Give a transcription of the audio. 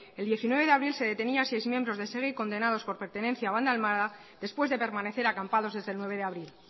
el diecinueve de abril se detenía a seis miembros de segi condenados por pertenencia a banda armada después de permanecer acampados desde el nueve de abril